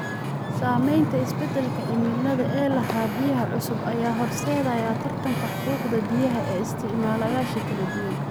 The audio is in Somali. Saamaynta isbeddelka cimilada ee ilaha biyaha cusub ayaa horseedaya tartanka xuquuqda biyaha ee isticmaalayaasha kala duwan.